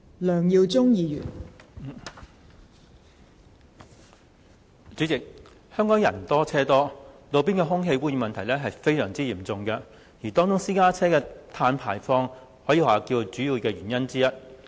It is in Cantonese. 代理主席，香港人多車多，路邊空氣污染的問題十分嚴重，而私家車的碳排放是造成空氣污染的主要原因之一。